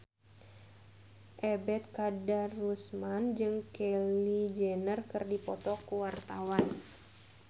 Ebet Kadarusman jeung Kylie Jenner keur dipoto ku wartawan